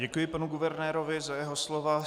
Děkuji panu guvernérovi za jeho slova.